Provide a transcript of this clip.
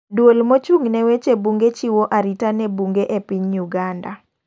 Duol mochung' ne wewche bunge chiwo arita ne bunge e piny Uganda.